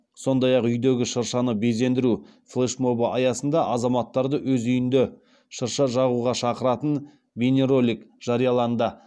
сондай ақ үйдегі шыршаны безендіру флешмобы аясында азаматтарды өз үйінде шырша жағуға шақыратын бейнеролик жарияланды